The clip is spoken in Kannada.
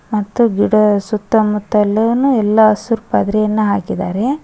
ಮತ್ತು ಗಿಡ ಸುತ್ತ ಮುತ್ತ ಎಲ್ಲಾನು ಎಲ್ಲ ಹಸುರ್ ಪದ್ರೆಯನ್ನ ಹಾಕಿದಾರೆ.